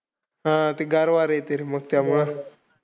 हां. ते गार वारा येतंय रे मग त्यामुळं.